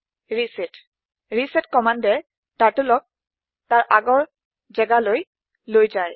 reset reset কম্মান্দে Turtleক তাৰ আগৰ যেগালৈ লৈ যায়